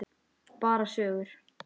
Bara sögur.